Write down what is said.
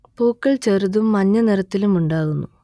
പൂക്കൾ ചെറുതും മഞ്ഞ നിറത്തിലും ഉണ്ടാകുന്നു